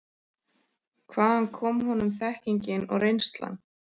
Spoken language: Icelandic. Hvaðan kom honum þekkingin og reynslan?